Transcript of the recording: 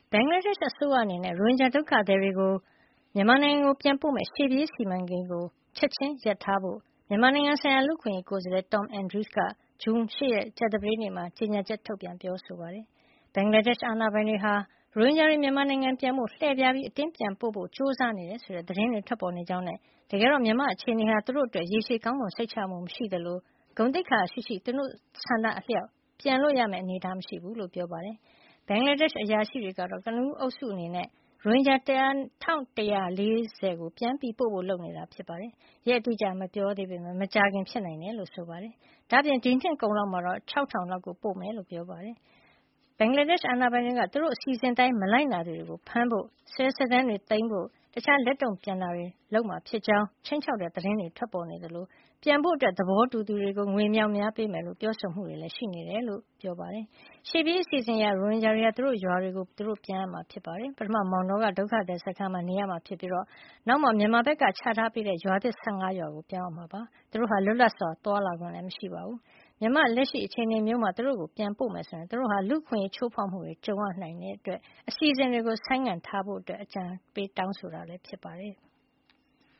ဘင်္ဂလားဒေ့ရှ် အစိုးရအနေနဲ့ ရိုဟင်ဂျာဒုက္ခသည်တွေကို မြန်မာနိုင်ငံပြန်ပို့မယ့် ရှေ့ပြေးစီမံကိန်းကို ချက်ချင်း ရပ်ဆိုင်းထားဖို့ မြန်မာနိုင်ငံဆိုင်ရာ လူ့အခွင့်ရေးကိုယ်စားလှယ် Tom Andrews က ဇွန်လ ၈ ရက် ကြာသပတေးနေ့မှာ ကြေညာချက် ထုတ်ပြန် ပြောဆိုလိုက်ပါတယ်။ ဘင်္ဂလားဒေ့ရှ် အာဏာပိုင်တွေဟာ ရိုဟင်ဂျာတွေ မြန်မာနိုင်ငံကို ပြန်ဖို့ လှည့်ဖျားပြီး အတင်းပြန်ပို့ဖို့ ကြိုးစားနေတယ်ဆိုတဲ့ သတင်းတွေ ထွက်ပေါ်နေကြောင်းနဲ့ တကယ်တော့ မြန်မာနိုင်ငံရဲ့ အခြေနေဟာ သူတို့အတွက် ရေရှည်ကောင်းမွန် စိတ်ချရမှု မရှိသလို ဂုဏ်သိက္ခာရှိရှိ သူတို့ ဆန္ဒအလျှောက် ပြန်လို့ရမယ့် အနေထား မရှိဘူးလို့ ပြောပါတယ်။ ဘင်္ဂလားဒေ့ရှ် အရာရှိတွေကတော့ ကနဦးအုပ်စုအနေနဲ့ ရိုဟင်ဂျာ ၁,၁၄၀ ကို ပြန်ပို့ဖို့ လုပ်နေတာဖြစ်ပြီး ရက်အတိအကျတော့ မပြောသေးပေမယ့် မကြာခင် ဖြစ်နိုင်တယ်လို့ ဆိုပါတယ်။ ဒါ့အပြင် ဒီနှစ်ကုန်လောက်မှာတော့ ၆,၀၀၀ လောက်ကို ပို့မှာ ဖြစ်ကြောင်းပြောပါတယ်။ ဘင်္ဂလားဒေ့ရှ် အာဏာပိုင်တွေက သူတို့အစီစဉ်တွေအတိုင်း မလိုက်နာသူတွေကို ဖမ်းဖို့၊ စာရွက်စာတမ်းတွေ သိမ်းဆည်းဖို့နဲ့ တခြား လက်တုံ့ပြန်တာတွေ လုပ်မှာဖြစ်ကြောင်း ခြိမ်းခြောက်တဲ့ သတင်းတွေ ထွက်ပေါ်နေသလို ပြန်ဖို့ သဘောတူသူတွေကို ငွေအမြောက်အများ ပေးမယ်လို့ ပြောဆိုမှုတွေ ရှိနေတယ်လို့လည်း ပြောပါတယ်။ ရှေ့ပြေးအစီအစဉ်အရ ရိုဟင်ဂျာတွေဟာ သူတို့ရွာတွေကို သူတို့ ပြန်ရမှာ ဖြစ်ပါတယ်။ ပထမမောင်တောက ဒုက္ခသည်စခန်းမှာ နေထိုင်ရမှာဖြစ်ပြီး အဲဒီနောက်မှာ မြန်မာဘက်က ချထားပေးတဲ့ ရွာသစ် ၁၅ ရွာကို ပြောင်းရွှေ့ရမှာဖြစ်ပါတယ်။ ဒါ့အပြင် လွတ်လပ်စွာ သွားလာခွင့်လည်း မရှိပါဘူး။ မြန်မာနိုင်ငံရဲ့ လက်ရှိ အခြေနေမျိုးမှာ သူတို့ိကို ပြန်ပို့မယ်ဆိုရင် သူတို့ဟာ လူ့အခွင့်ရေးချိုးဖေါက်မှုတွေ ကြုံရနိုင်ခြေရှိတဲ့အတွက် အစီအစဉ်တွေကို ဆိုင်းငံ့ထားဖို့ပါ တောင်းဆိုထားတာ ဖြစ်ပါတယ်။